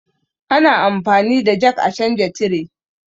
Ana anfani da jak a canja tire